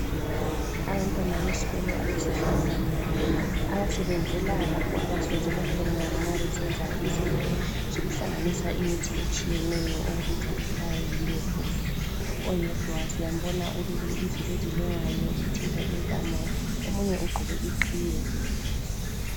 Abantwana besikolo abesifazana abasebenzela lapho abasebenzela khona ma besenza izinto zokuhlanganisa imithi etshiyeneyo okubizwa kuthwa yiLab. Oyedwa siyambona ulukile izinto ezilengayo zithinta intamo omunye ugqoke iqhiye.